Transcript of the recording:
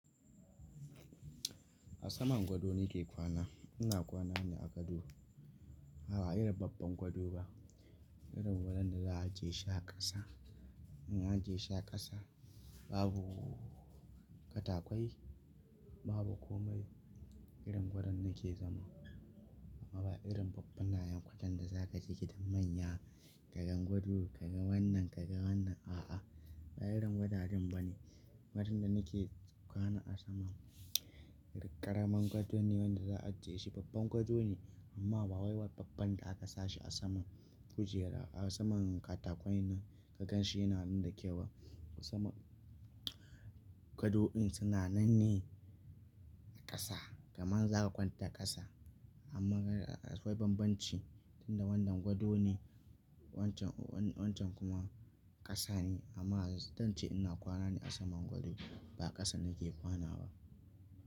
A saman gado ni ke kwana. Ina kwana ne a gado. Ba irin babban gado ba, irin gadon da za'a ajiye shi a ƙasa. In a je shi a ƙasa, babu katakai, babu komai. Irin gadon nake zama. Amma ba irin babban ɗayan kwatan da za ka ji gidan manya kagan gado, kaga wannan, kaga wannan. A'a, ba irin gadaden ba ne. Wajen da nake kwana a saman ƙaramin gado ne wanda za a je shi babban gado ne amma ba wai babban da aka sashi a saman kujera. A saman katakon nan ka gan shi yana nandakewa. A saman gado ɗin suna nan ne a ƙasa, kaman za ka kwanta ƙasa amma akwai bambanci, tunda wannan gado ne wancan, wancan kuma ƙasa ne amma don ce ina kwana ne a saman gado ba ƙasa nake kwana ba.